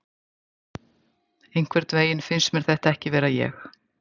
Einhvernveginn finnst mér þetta ekki vera ég.